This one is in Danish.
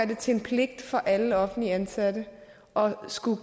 det til en pligt for alle offentligt ansatte og måske